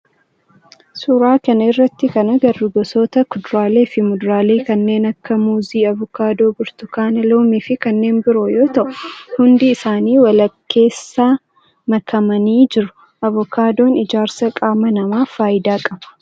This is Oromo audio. Suuraa kana irratti kan agarru gosoota kuduraalee fi muduraalee kanneen akka muuzii, avokaadoo, burtukaana, loomii fi kanneen biroo yoo ta'u hundi isaanii walkeessa makamanii jiru. Avokaadoon ijaarsa qaama namaaf faayidaa qaba.